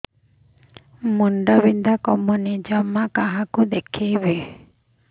ମୁଣ୍ଡ ବିନ୍ଧା କମୁନି ଜମା କାହାକୁ ଦେଖେଇବି